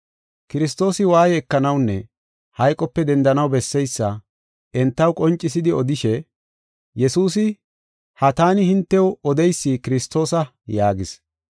Kiristoosi waaye ekanawunne hayqope dendanaw besseysa entaw qoncisidi odishe, “Yesuusi ha taani hintew odeysi Kiristoosa” yaagis.